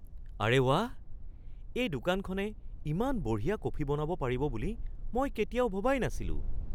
আৰে ৱাহ! এই দোকানখনে ইমান বঢ়িয়া কফি বনাব পাৰিব বুলি মই কেতিয়াও ভবাই নাছিলোঁ।